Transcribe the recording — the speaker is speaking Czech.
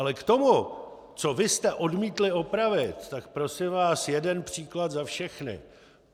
Ale k tomu, co vy jste odmítli opravit, ta prosím vás jeden příklad za všechny.